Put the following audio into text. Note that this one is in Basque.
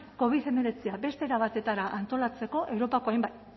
covid hemeretzi beste era batera antolatzeko europako hainbat